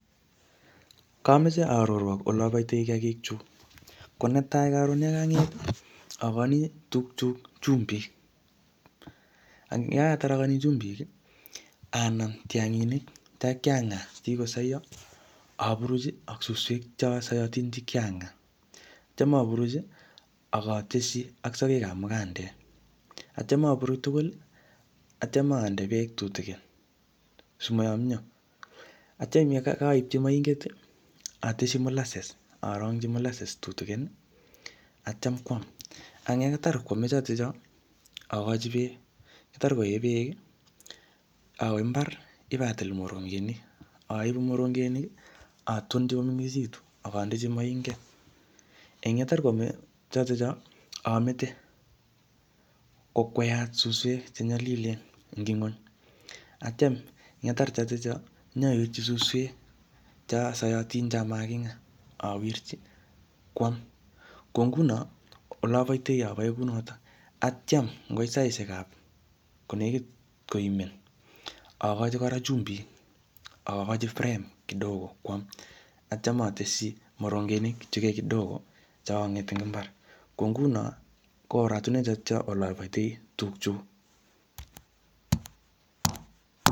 Kameche arorwok ole aboitoi kiyagik chu. Ko ne tai karon yeanget, akochini tug chuk chumbik. Eng yakatar akochini chumbik, anam tianginik che kakiang'aa che kikosaio, apuruch ak suswek cho sayatin che kiang'aa. Atyam apuruch, akateshi ak sagek ap mukandek. Atyam apuruch tugul, atyam ande beek tututkin, simayomyoo. Atyam yekaipchi moinget, ateshi mollasses, arongchi mollasses tutukin, atyam kwam. Eng yekatar koame chotocho, akochi beek. Yetar koee beek, awe mbar, ipatil morongenik, aibu morongenik, atonchi komengechitu, akandechi moinget. Eng yatar koame chotocho, amete, kokweat suswek che nyalilen eng ng'uny. Atyam yetar chotocho, nyawirchi suswek cho saiyotin che makingaa, awirchi, kwam. Ko nguno, ole aboitoi, abae kounotok. Atyam ngoit saishek ap ko nekit koimen, akochi kora chumbik, akochi frame koam kidogo kwam. Atyam ateshi morongenik chekai kidogo che kang'et eng mbar. Ko nguno, ko oratunwek chotocho ole aboitoi tug chuk